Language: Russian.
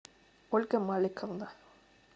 ольга маликовна